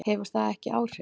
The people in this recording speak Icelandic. Hefur það ekki áhrif?